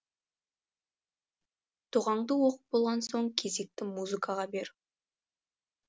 дұғаңды оқып болған соң кезекті музыкаға бер